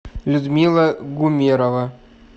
людмила гумерова